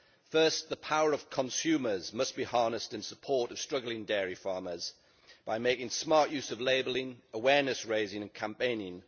First, the power of consumers must be harnessed in support of struggling dairy farmers by making smart use of labelling, awareness raising and campaigning.